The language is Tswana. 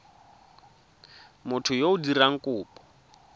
motho yo o dirang kopo